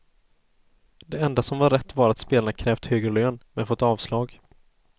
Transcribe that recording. Det enda som var rätt var att spelarna krävt högre lön, men fått avslag.